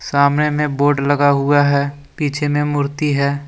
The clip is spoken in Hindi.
सामने में बोर्ड लगा हुआ है पीछे में मूर्ति है।